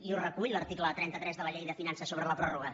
i ho recull l’article trenta tres de la llei de finances sobre la pròrroga